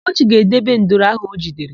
Ugochi ga-edebe nduru áhụ̀ o jidere.